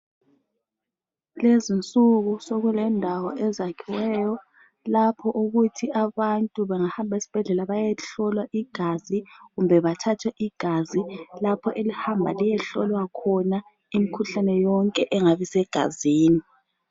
Kulezinsuku sokulendawo ezakhiweyo okuthi abantu bangahambi ezibhedlela bayehlolwa kumbe bathathwe igazi lapho elihamba liyehlolwa khona imikhuhlane yonke engabe isegazini.